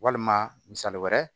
Walima misali wɛrɛ